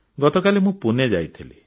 ଗତକାଲି ମୁଁ ପୁନେ ଯାଇଥିଲି